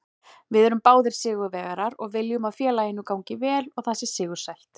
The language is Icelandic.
Við erum báðir sigurvegarar og viljum að félaginu gangi vel og það sé sigursælt.